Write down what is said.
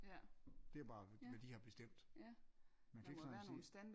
Det er bare hvad de har bestemt man kan ikke sådan sige